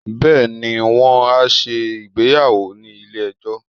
beeni, won a se ìgbéyàwò ni ile ejó